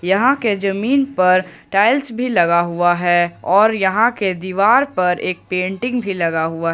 यहां के जमीन पर टाइल्स भी लगा हुआ है और यहां के दीवार पर एक पेंटिंग भी लगा हुआ है।